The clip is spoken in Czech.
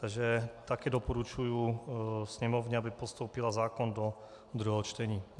Takže také doporučuji sněmovně, aby postoupila zákon do druhého čtení.